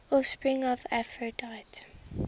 offspring of aphrodite